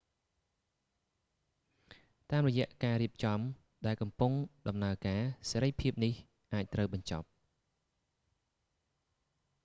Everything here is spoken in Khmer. តាមរយៈការរៀបចំដែលកំពុងដំណើរការ សេរីភាពនេះ អាចត្រូវបញ្ចប់